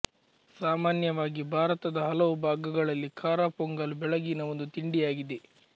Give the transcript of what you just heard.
ಸಾಮಾನ್ಯವಾಗಿ ಭಾರತದ ಹಲವು ಭಾಗಗಳಲ್ಲಿ ಖಾರ ಪೊಂಗಲ್ ಬೆಳಗಿನ ಒಂದು ತಿಂಡಿಯಾಗಿದೆ